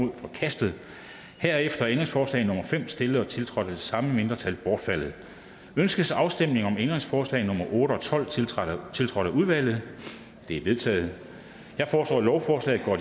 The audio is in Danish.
er forkastet herefter er ændringsforslag nummer fem stillet og tiltrådt af det samme mindretal bortfaldet ønskes afstemning om ændringsforslag nummer otte og tolv tiltrådt tiltrådt af udvalget de er vedtaget jeg foreslår at lovforslaget går